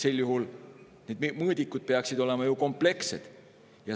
Sel juhul peaksid need mõõdikud olema ju komplekssed.